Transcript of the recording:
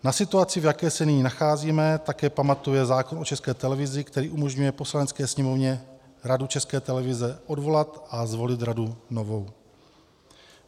Na situaci, v jaké se nyní nacházíme, také pamatuje zákon o České televizi, který umožňuje Poslanecké sněmovně Radu České televize odvolat a zvolit radu novou.